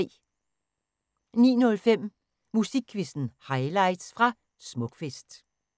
09:05: Musikquizzen highlights fra Smukfest